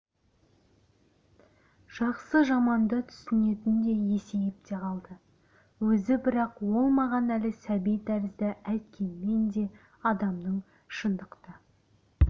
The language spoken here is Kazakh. жақсы-жаманды түсінетіндей есейіп те қалды өзі бірақ ол маған әлі сәби тәрізді әйткенмен де адамның шындықты